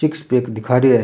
Six pack दिखा रिया है।